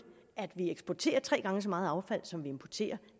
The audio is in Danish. eksporterer tre gange så meget affald som vi importerer